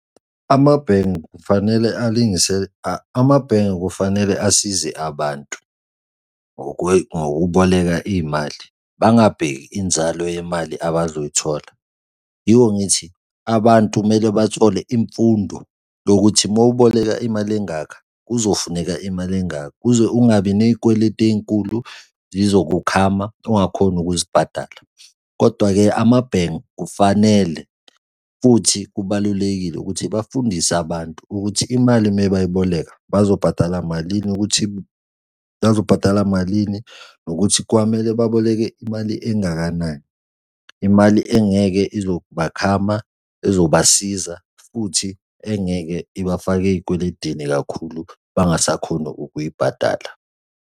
Amabhenge kufanele alungise, amabhenge kufanele asize abantu ngokuboleka iy'mali bangabheki inzalo yemali abazoyithola. Yiko ngithi abantu kumele bathole imfundo yokuthi uma uboleka imali engaka kuzofuneka imali engaka kuze ungabi ney'kweletu ey'nkulu zizokukhama ungakhoni ukuzibhadala. Kodwa-ke amabhenge kufanele, futhi kubalulekile ukuthi bafundise abantu ukuthi imali uma beyiboleka bazobhadala malini ukuthi bazobhadala malini nokuthi kwamele baboleke imali engakanani, imali engeke izobakhama ezobasiza futhi engeke ibafake ey'kweledini kakhulu, bangasakhoni ukuyibhadala.